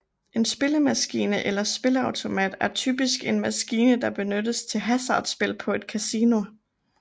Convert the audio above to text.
En spillemaskine eller spilleautomat er typisk en maskine der benyttes til hasardspil på et kasino